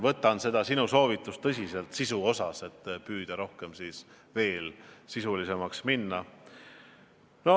Võtan seda sinu soovitust tõsiselt ja püüan veel sisulisemaks minna.